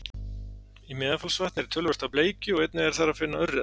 Í Meðalfellsvatni er töluvert af bleikju og einnig er þar að finna urriða.